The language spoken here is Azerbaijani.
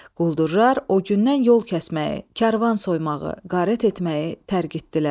Quldurlar o gündən yol kəsməyi, karvan soymağı, qarət etməyi tərgitdilər.